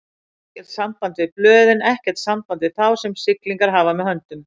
Ekkert samband við blöðin, ekkert samband við þá, sem siglingar hafa með höndum.